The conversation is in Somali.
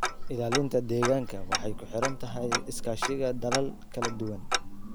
Ilaalinta deegaanka waxay ku xiran tahay iskaashiga dalal kala duwan.